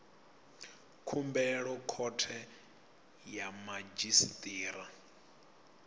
khumbelo khothe ya madzhisi ṱira